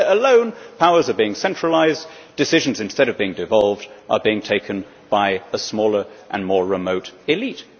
Here alone, powers are being centralised, decisions instead of being devolved are being taken by a smaller and more remote elite.